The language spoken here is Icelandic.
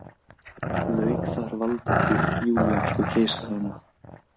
Lauk þar valdatíð júlíönsku keisaranna.